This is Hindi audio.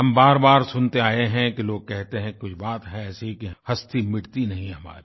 हम बारबार सुनते आये हैं कि लोग कहते हैं कुछ बात है ऐसी कि हस्ती मिटती नहीं हमारी